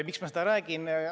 Miks ma seda räägin?